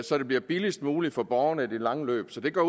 så det bliver billigst muligt for borgerne i det lange løb så det går